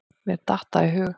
Mér datt það í hug.